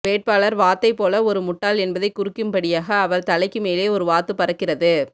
வேட்பாளர் வாத்தை போல ஒரு முட்டாள் என்பதைக் குறிக்கும்படியாக அவர் தலைக்கு மேலே ஒரு வாத்து பறக்கிறது